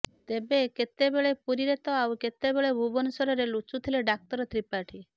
ତେବେ କେତେବେଳେ ପୁରୀରେ ତ ଆଉ କେତେବେଳେ ଭୁବନେଶ୍ବରରେ ଲୁଚୁଥିଲେ ଡାକ୍ତର ତ୍ରିପାଠୀ